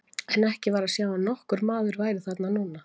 En ekki var að sjá að nokkur maður væri þar núna.